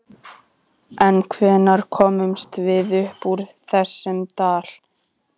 En hvenær komumst við upp úr þessum dal?